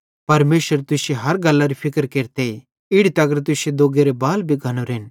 परमेशर तुश्शे हर गल्लरी फिक्र केरते इड़ी तगर तुश्शे दोग्गेरे बाल भी गन्नोरेन